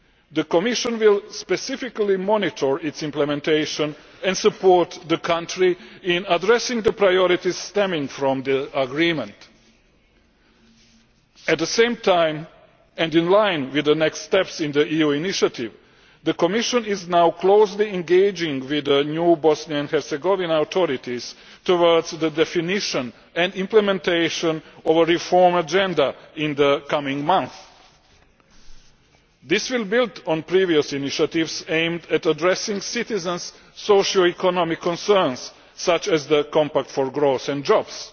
The Commission will specifically monitor its implementation and support the country in addressing the priorities stemming from the agreement. At the same time, and in line with the next steps in the EU initiative, the Commission is now closely engaging with the new Bosnia and Herzegovina authorities towards the definition and implementation of a reform agenda in the coming months. This will build on previous initiatives aimed at addressing citizens' socio economic concerns, such as the Compact for Growth and Jobs.